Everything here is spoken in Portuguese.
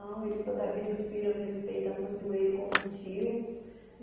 Não, ele... Toda a vida os filhos respeitam muito ele como tio.